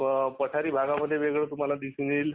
पठारी भागामध्ये वेगळ दिसून येईल